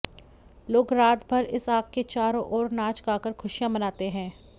लोग रात भर इस आग के चारों ओर नाच गाकर खुशियां मनाते हैं